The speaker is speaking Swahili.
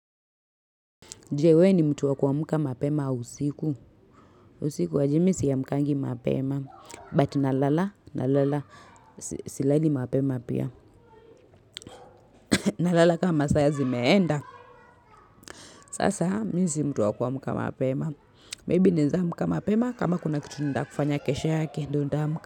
Je wewe ni mtu wa kuamka mapema au usiku. Usiku aje mimi siamkangi mapema. But nalala nalala silali mapema pia. Nalala kama saa zimeenda sasa mimi si mtu wa kuamka mapema. Maybe naeza amkta mapema kama kuna kitu nataka kufanya kesho yake.